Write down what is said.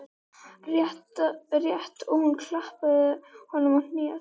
Rétt og hún klappaði honum á hnéð.